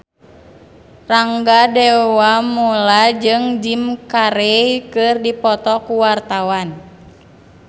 Rangga Dewamoela jeung Jim Carey keur dipoto ku wartawan